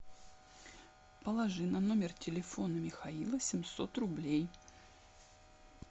положи на номер телефона михаила семьсот рублей